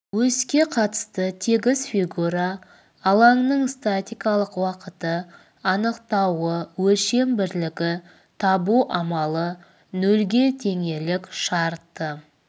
оське қатысты тегіс фигура алаңының статикалық уақыты анықтауы өлшем бірлігі табу амалы нөлге теңелік шарты